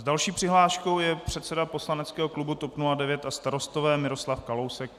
S další přihláškou je předseda poslaneckého klubu TOP 09 a Starostové Miroslav Kalousek.